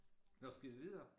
Nåh skal vi videre?